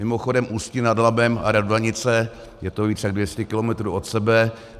Mimochodem, Ústí nad Labem a Radvanice, je to víc jak 200 kilometrů od sebe.